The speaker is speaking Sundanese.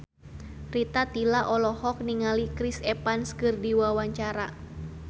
Rita Tila olohok ningali Chris Evans keur diwawancara